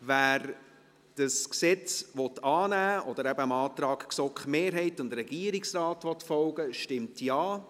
Wer dieses Gesetz annehmen will, oder eben dem Antrag der GSoK-Mehrheit und des Regierungsrates folgen will, stimmt Ja,